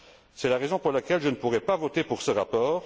C'est la raison pour laquelle je ne pourrai pas voter pour ce rapport.